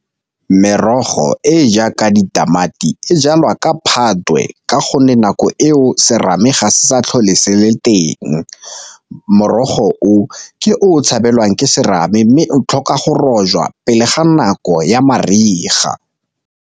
Merogo e e jaaka ditamati e jalwa ka Phatwe ka gonne nako e o serame ga se sa tlhole se le teng, morogo o ke o tshabelelwang ke serame mme o tlhoka go rojwa pele ga nako ya mariga.